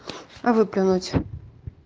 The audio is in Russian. выплюнуть